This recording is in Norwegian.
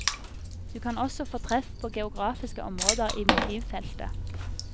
Du kan også få treff på geografiske områder i motivfeltet.